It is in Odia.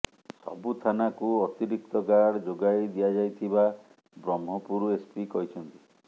ସବୁ ଥାନାକୁ ଅତିରିକ୍ତ ଗାର୍ଡ ଯୋଗାଇ ଦିଆଯାଇଥିବା ବ୍ରହ୍ମପୁର ଏସପି କହିଛନ୍ତି